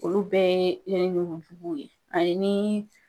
Olu bɛɛ ye yɛrɛ ɲɔgɔn kow ye ani ni